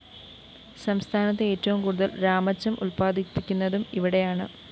സംസ്ഥാനത്ത് ഏറ്റവും കൂടുതല്‍ രാമച്ചം ഉത്പാദിപ്പിക്കുന്നതും ഇവിടെയാണ്